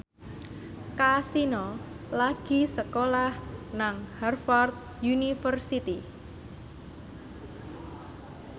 Kasino lagi sekolah nang Harvard university